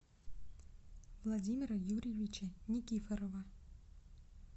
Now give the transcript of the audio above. владимира юрьевича никифорова